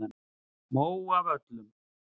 Móavöllum